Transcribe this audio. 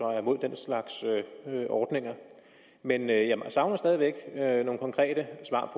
er imod den slags ordninger men jeg savner stadig væk nogle konkrete svar